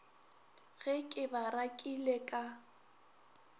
ge ke ba rakile ka